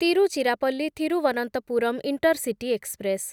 Tiruchirappalli Thiruvananthapuram intercity express